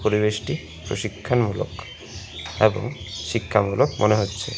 পরিবেশটি প্রশিক্ষণমূলক ভালো শিক্ষামূলক মনে হচ্ছে।